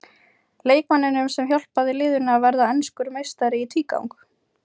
Leikmanninum sem hjálpaði liðinu að verða enskur meistari í tvígang?